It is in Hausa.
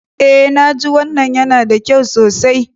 Eh naji. Wannan yana da kyau sosai.